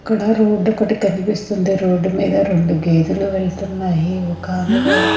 ఇక్కడ రోడ్డు ఒకటి కనిపిస్తుంది రోడ్డు మీద రెండు గేదులు వెళ్తున్నాయి ఒకామె కూడా.